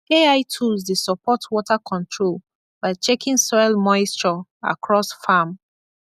ai tools dey support water control by checking soil moisture across farm